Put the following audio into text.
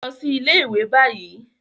Lọ si ile-iwe bayi